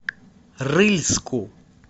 рыльску